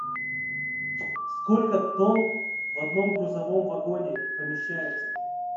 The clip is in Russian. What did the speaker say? сколько тонн в одном грузовом вагоне помещается